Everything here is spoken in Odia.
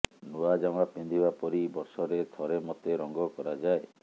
ନୂଆ ଜାମା ପିନ୍ଧିବା ପରି ବର୍ଷରେ ଥରେ ମତେ ରଙ୍ଗ କରାଯାଏ